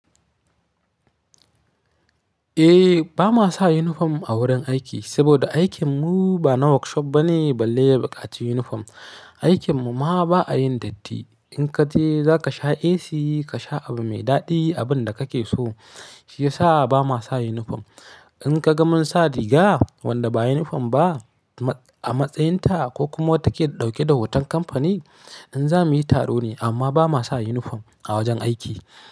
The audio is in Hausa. Eh, ba ma sa uniform a wurin aiki saboda aikin mu ba na workshop ba ne balle ya buƙaci uniform. Aikin mu ma ba a yin datti. In ka je za ka sha AC, ka sha abu mai daɗi, abin da kake so. Shi ya sa ba ma sa uniform. In ka ga mun sa riga wanda ba uniform ba a matsayin ta ko kuma take ɗauke da hoton kamfani, in zamu yi taro ne amma ba ma sa uniform a wajen aiki.